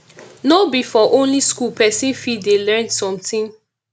no be for only school person fit dey learn something